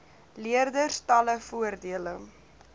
leerders talle voordele